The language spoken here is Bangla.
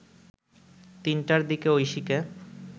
৩টার দিকে ঐশীকে